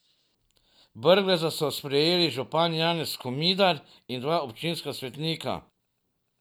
Brgleza so sprejeli župan Janez Komidar in dva občinska svetnika.